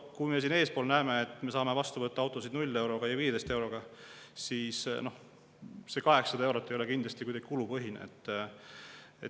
Kui me siin eespool näeme, et me saame vastu võtta autosid 0 euroga ja 15 euroga, siis noh, see 800 eurot ei ole kindlasti kuidagi kulupõhine.